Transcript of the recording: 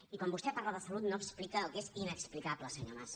i quan vostè parla de salut no explica el que és inexplicable senyor mas